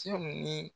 Cɛw ni